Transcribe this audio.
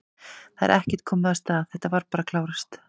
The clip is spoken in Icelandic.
Það er ekkert komið af stað, þetta var bara að klárast?